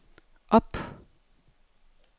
op